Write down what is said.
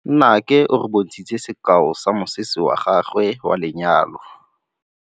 Nnake o re bontshitse sekaô sa mosese wa gagwe wa lenyalo.